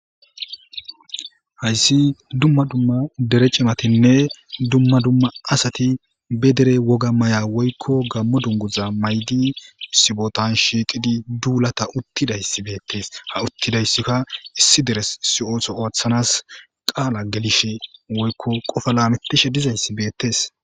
Hayssi dumma dumma dere cimatinne dumma dumma asati be dere woga maya woykko gammo dunguza maydi sibotan shiiqidi duulata uttidayssi beettes ha uttidayssikka issi deres siootso ooththanas qaala gelishe woykko qofa laametishe dizayssi beettes.